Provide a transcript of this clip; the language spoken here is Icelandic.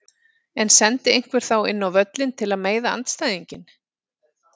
En sendi einhver þá inn á völlinn til að meiða andstæðinginn?